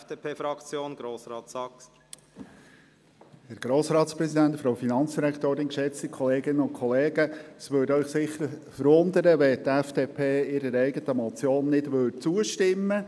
Es würde Sie bestimmt verwundern, wenn die FDP-Fraktion eine eigene Motion nicht unterstützte.